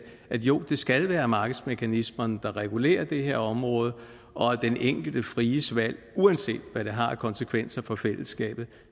at jo det skal være markedsmekanismerne der regulerer det her område og at den enkeltes frie valg uanset hvad det har af konsekvenser for fællesskabet